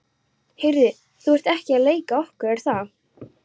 Heyrðu, þú ert ekki að leika á okkur, er það?